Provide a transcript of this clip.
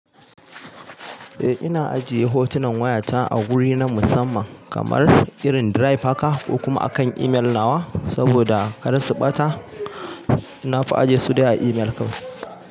Eh, ina ajiye hotunan wayata a guri na musamman kamar irin drive haka ko kuma akan imel nawa saboda kar su ɓata. Na fi ajiye su dai a imel kawai.